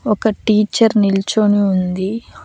ఒక టీచర్ నిల్చోని ఉంది.